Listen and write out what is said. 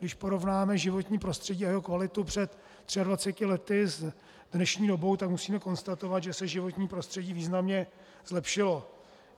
Když porovnáme životní prostředí a jeho kvalitu před 23 lety s dnešní dobou, tak musíme konstatovat, že se životní prostředí významně zlepšilo.